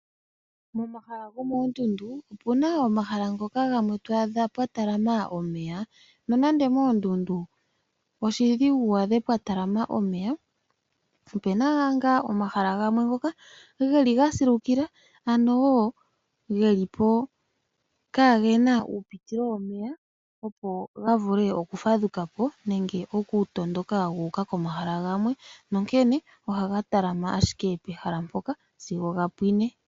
Momahala gomoondundu opu na omahala ngoka gamwe twaadha pwa talama omeya nonando moondundu oshidhigu mwaadhe pwa talama omeya opu na ngaa omahala gamwe ngoka ge li ga silukila ano wo ge lipo kaage na uupitilo womeya opo ga vule okufadhukapo nenge okutondoka guuka komahala gamwe nonkene oha ga talama ashike pehala mpoka sigo ga pwine.